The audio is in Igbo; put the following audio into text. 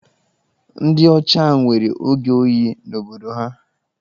Ndị ọcha nwere oge oyi n'obodo ha.